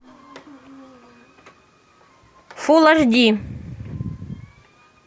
фул аш ди